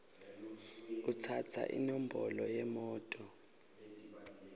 kutsatsa inombolo yemoto